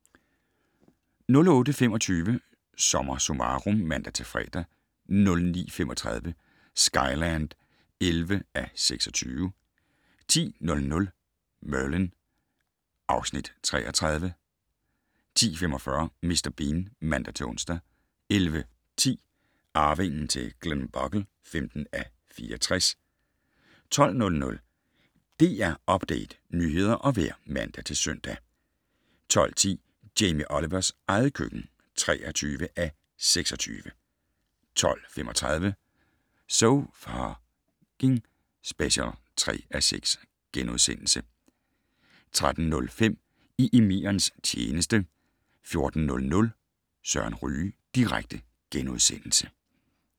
08:25: SommerSummarum (man-fre) 09:35: Skyland (11:26) 10:00: Merlin (Afs. 33) 10:45: Mr. Bean (man-ons) 11:10: Arvingen til Glenbogle (15:64) 12:00: DR Update - nyheder og vejr (man-søn) 12:10: Jamie Olivers eget køkken (23:26) 12:35: So F***ing Special (3:6)* 13:05: I emirens tjeneste 14:00: Søren Ryge direkte *